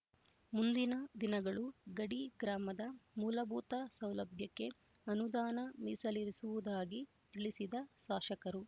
ಮುಂದಿನ ದಿನಗಳು ಗಡಿ ಗ್ರಾಮದ ಮೂಲಭೂತ ಸೌಲಭ್ಯಕ್ಕೆ ಅನುದಾನ ಮೀಸಲಿರಿಸುವುದಾಗಿ ತಿಳಿಸಿದ ಶಾಸಕರು